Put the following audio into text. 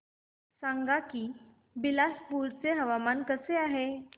सांगा की बिलासपुर चे हवामान कसे आहे